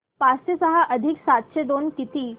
पाचशे सहा अधिक सातशे दोन किती